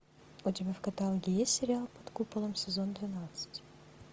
у тебя в каталоге есть сериал под куполом сезон двенадцать